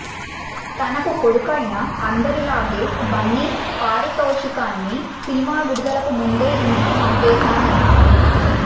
తనకు కొడుకైన అందరిలాగే బన్నీ పారితోషికాన్ని సినిమా విడుదలకు ముందే ఇంటికి పంపేశా అన్నాడు